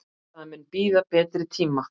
Það mun bíða betri tíma.